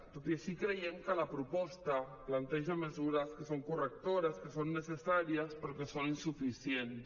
tot i així creiem que la proposta planteja mesures que són correctores que són necessàries però que són insuficients